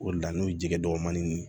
O de la n'o ye jɛgɛ dɔgɔnin ye